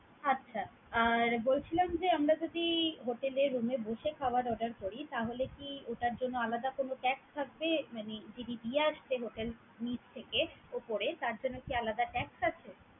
আচ্ছা! আর বলছিলাম যে, আমরা যদি hotel এ room এ বসে খাবার order করি তাহলে কি ওটার জন্য আলাদা কোন tax থাকবে? মানে যিনি দিয়ে আসছে hotel নিচ থেকে ওপরে তার জন্য কি আলাদা tax আছে?